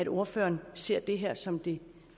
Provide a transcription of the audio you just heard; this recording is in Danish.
ordføreren ser det her som det